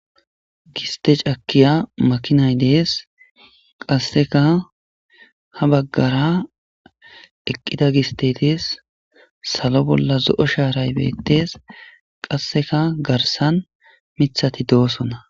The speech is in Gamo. giste cakiya makinay dees qasseka ha baggara eqqida gistey salo bolla zo7o shaaray beettes qasseka garsan mithati doosona